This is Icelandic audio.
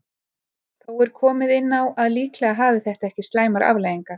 Þó er komið inn á að líklega hafi þetta ekki slæmar afleiðingar.